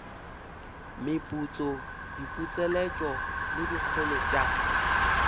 meputso diputseletšo le dikholo tša